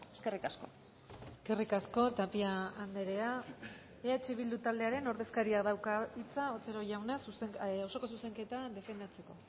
eskerrik asko eskerrik asko tapia andrea eh bildu taldearen ordezkariak dauka hitza otero jauna osoko zuzenketa defendatzeko